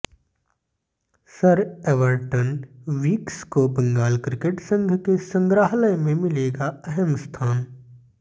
sir Everton Weekes को Bengal cricket संघ के संग्रहालय में मिलेगा अहम स्थान